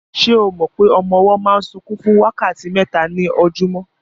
Se o mọ pé ọmọ ọwọ́ máa ń sunkún fún wákàtí mẹ́ta ní ojúmọ́?